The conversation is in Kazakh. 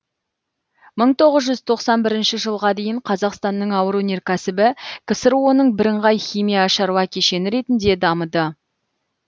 мың тоғыз жүз тоқсан бірінші жылға дейін қазақстанның ауыр өнеркәсібі ксро ның бірыңғай химия шаруа кешені ретінде дамыды